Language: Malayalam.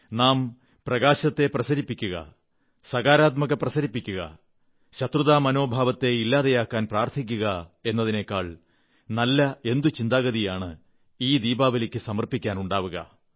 നാം പ്രകാശത്തെ പ്രസരിപ്പിക്കുക സകാരാത്മകത പ്രസരിപ്പിക്കുക ശത്രുതാമനോഭാവത്തെ ഇല്ലാതെയാക്കാൻ പ്രാർത്ഥിക്കുക എന്നതിനേക്കാൾ നല്ല എന്തു ചിന്താഗതിയാണ് ഈ ദീപാവലിക്ക് സമർപ്പിക്കാൻ ഉണ്ടാവുക